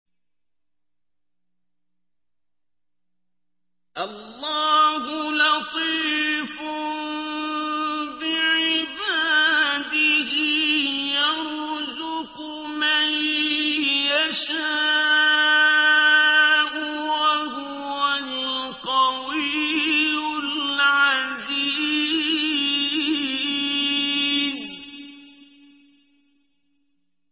اللَّهُ لَطِيفٌ بِعِبَادِهِ يَرْزُقُ مَن يَشَاءُ ۖ وَهُوَ الْقَوِيُّ الْعَزِيزُ